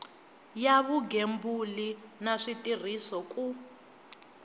ya vugembuli na switirhiso ku